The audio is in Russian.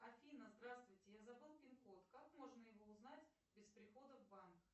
афина здравствуйте я забыл пин код как можно его узнать без прихода в банк